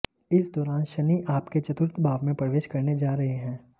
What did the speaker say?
इस दौरान शनि आपके चतुर्थ भाव में प्रवेश करने जा रहे हैं